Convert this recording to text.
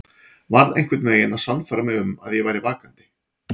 Varð einhvern veginn að sannfæra mig um að ég væri vakandi.